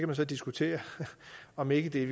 kan diskutere om ikke det i